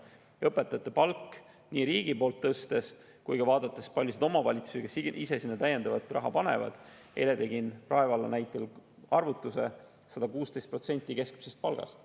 Kui vaadata õpetajate palga tõstmist riigi poolt ja ka seda, kui palju omavalitsused sinna ise täiendavat raha panevad – eile tegin Rae valla näitel arvutuse –, on 116% keskmisest palgast.